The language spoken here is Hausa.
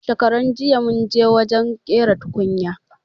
Shakaranjiya munje wajen ƙera tukunya